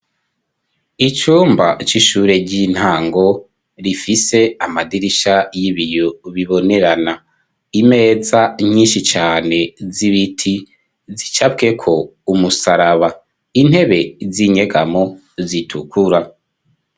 Icumba c'ishure ry'intango rifise amadirisha y'ibiyo bibonerana, imeza nyinshi cane z'ibiti zicapweko umusaraba, intebe z'inyegamwo zitukura.